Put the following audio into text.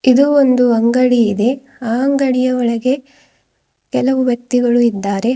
ಇದು ಒಂದು ಅಂಗಡಿ ಇದೆ ಆ ಅಂಗಡಿಯ ಒಳಗೆ ಕೆಲವು ವ್ಯಕ್ತಿಗಳು ಇದ್ದಾರೆ.